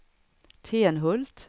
Tenhult